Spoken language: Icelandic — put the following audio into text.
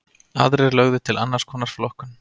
Aðrir lögðu til annars konar flokkun.